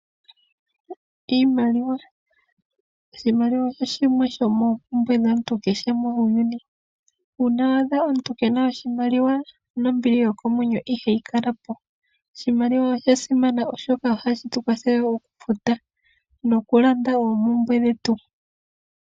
Iimaliwa. Oshimaliwa osho shimwe sho moompumbwe dhaantu kehe muuyuni. Uuna wa adha omuntu kena oshimaliwa, nombili yokomwenyo ihayi kalapo. Oshimaliwa osha simana oshoka ohashi tu kwatheke oku futa, noku landa oompumbwe dhetu.